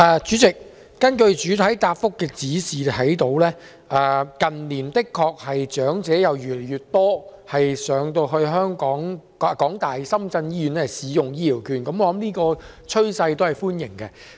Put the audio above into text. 主席，從主體答覆可見，近年確實有越來越多長者前往港大深圳醫院使用醫療券，這趨勢顯示計劃受到歡迎。